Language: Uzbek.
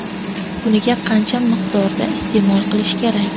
Kuniga qancha miqdorda iste’mol qilish kerak?